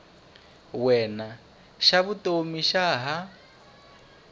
wena xa vutomi xa ha